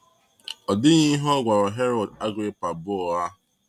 Ọ dịghị ihe ọ gwara Herod Agrippa bụ ụgha.